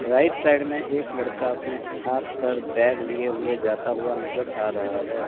Right side में एक लड़का अपने हाथ पर बैग लिए हुए जाता हुआ नजर आ रहा है।